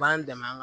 B'an dɛmɛ an